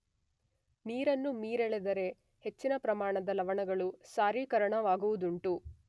ನೀರನ್ನು ಮೀರೆಳೆದರೆ ಹೆಚ್ಚಿನ ಪ್ರಮಾಣದ ಲವಣಗಳು ಸಾರೀಕರಣವಾಗುವುದುಂಟು.